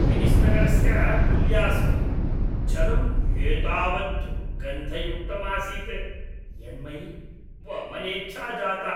Venice नगरस्य कुल्यासु जलं एतावत् दुर्गन्धयुक्तम् आसीत् यन्मयि वमनेच्छा जाता।